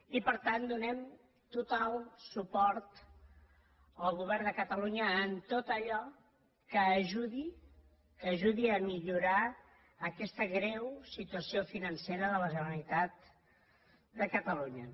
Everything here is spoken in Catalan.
i per tant donem total suport al govern de catalunya en tot allò que ajudi a millorar aquesta greu situació financera de la generalitat de catalunya